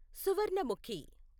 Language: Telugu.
సువర్ణముఖి